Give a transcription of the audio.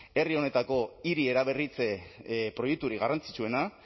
herri honetako hiri eraberritze proiekturik garrantzitsuena